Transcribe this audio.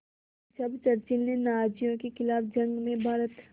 जब चर्चिल ने नाज़ियों के ख़िलाफ़ जंग में भारत